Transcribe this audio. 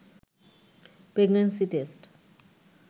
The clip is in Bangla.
pregnancy test